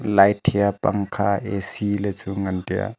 light hia pangkha A_C le chu ngan taiya.